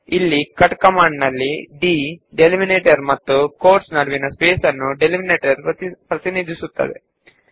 ಈ ಕಮಾಂಡ್ ನಲ್ಲಿ d u ಎಲ್ಲೆ ನಿರ್ಧರಿಸುತ್ತದೆ ಮತ್ತು ಕೋಟ್ ಗಳ ನಡುವಿನ ಜಾಗವು ಅದನ್ನು ಪ್ರತಿನಿಧಿಸುತ್ತದೆ